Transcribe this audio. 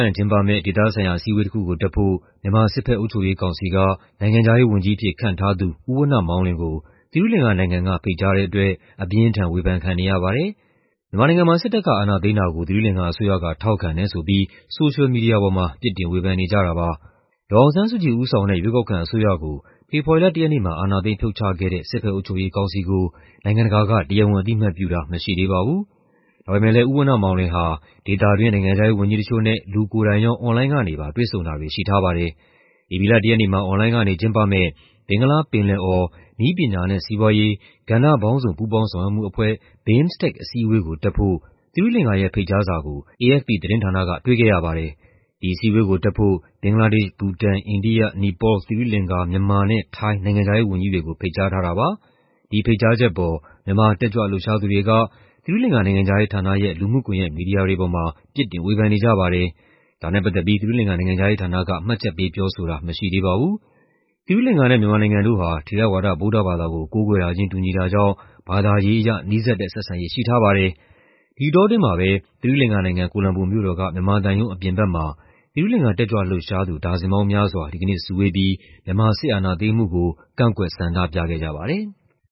ရင်ကျင်းပမယ့် ဒေသဆိုင်ရာ အစည်းအဝေးတစ်ခုကိုတက်ဖို့ မြန်မာ စစ်ဘက်အုပ်ချုပ်ရေးကောင်စီက နိုင်ငံခြားရေးဝန်ကြီးအဖြစ် ခန့်ထားသူ ဦးဝဏ္ဏမောင်လွင်ကို သီရိလင်္ကာနိုင်ငံက ဖိတ်ကြားထားတဲ့အတွက် အပြင်းအထန် ဝေဖန်ခံနေရပါတယ်။ မြန်မာနိုင်ငံမှာ စစ်တပ်က အာဏာသိမ်းတာကို သီရိလင်္ကာအစိုးရက ထောက်ခံတယ်ဆိုပြီး ဆိုရှယ်မီဒီယာပေါ်မှာ ပြစ်တင်ဝေဖန်နေကြတာပါ။ ဒေါ်အောင်ဆန်းစုကြည်ဦးဆောင်တဲ့ ရွေးကောက်ခံအစိုးရကို ဖေဖော်ဝါရီလ ၁ ရက်နေ့မှာ အာဏာသိမ်းဖြုတ်ချခဲ့တဲ့ စစ်ဘက်အုပ်ချုပ်ရေးကောင်စီကို နိုင်ငံတကာက တရားဝင်အသိအမှတ်ပြုတာ မရှိသေးပါဘူး။ ဒါပေမဲ့လည်း ဦးဝဏ္ဏမောင်လွင်ဟာ ဒေသတွင်း နိုင်ငံခြားရေးဝန်ကြီးတချို့နဲ့ လူကိုယ်တိုင်ရော အွန်လိုင်းကနေပါ တွေ့ဆုံတာတွေရှိထားပါတယ်။ ဧပြီလ ၁ ရက်နေ့မှာ အွန်လိုင်းကနေကျင်းပမယ့် ဘင်္ဂလားပင်လယ်အော် နည်းပညာနဲ့ စီးပွားရေး ကဏ္ဍပေါင်းစုံ ပူးပေါင်းဆောင်ရွက်မှုအဖွဲ့ အစည်းအဝေးကို တက်ဖို့ သီရိလင်္ကာရဲ့ ဖိတ်ကြားစာကို AFP သတင်းဌာနက တွေ့ခဲ့ရပါတယ်။ ဒီအစည်းအဝေးကို တက်ဖို့ ဘင်္ဂလားဒေ့ရှ်၊ ဘူတန်၊ အိန္ဒိယ၊ နီပေါလ်၊သီရိလင်္ကာ၊ မြန်မာနဲ့ ထိုင်း နိုင်ငံခြားရေးဝန်ကြီးတွေကို ဖိတ်ကြားထားတာပါ။ ဒီဖိတ်ကြားချက်အပေါ် မြန်မာတက်ကြွလှုပ်ရှားသူတွေက သီရိလင်္ကာ နိုင်ငံခြားရေးဌာနရဲ့ လူမှုကွန်ယက်မီဒီယာတွေပေါ်မှာ ပြစ်တင် ဝေဖန်နေကြပါတယ်။ ဒါနဲ့ပတ်သက်ပြီး သီရိလင်္ကာနိုင်ငံခြားရေးဌာနက မှတ်ချက်ပေးပြောဆိုတာမရှိသေးပါဘူး။ သီရိလင်္ကာနဲ့ မြန်မာနိုင်ငံတို့ဟာ ထေရဝါဒဗုဒ္ဓဘာသာကို ကိုးကွယ်တာချင်း တူညီတာကြောင့် ဘာသာရေးအရ နီးစပ်တဲ့ဆက်ဆံရေးရှိထားပါတယ်။ ဒီအတောအတွင်းမှာပဲ သီရိလင်္ကာနိုင်ငံ၊ ကိုလမ်ဘိုမြို့တော်က မြန်မာသံရုံးအပြင်ဘက်မှာ သီရိလင်္ကာတက်ကြွလှုပ်ရှားသူ ဒါဇင်ပေါင်းများစွာ ဒီကနေ့စုဝေးပြီး မြန်မာ စစ်အာဏာသိမ်းမှုကို ကန့်ကွက် ဆန္ဒပြခဲ့ကြပါတယ်။